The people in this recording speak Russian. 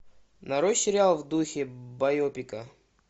нарой сериал в духе байопика